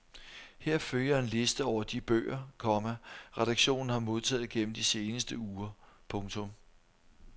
Her følger en liste over de bøger, komma redaktionen har modtaget gennem de seneste uger. punktum